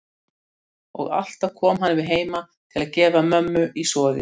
Og alltaf kom hann við heima til að gefa mömmu í soðið.